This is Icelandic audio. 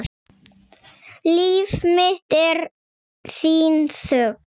Líf mitt er þín þögn.